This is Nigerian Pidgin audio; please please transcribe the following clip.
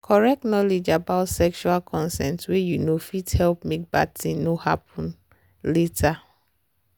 correct knowledge about sexual consent way you know fit help make bad thing no happen later.